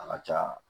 A ka ca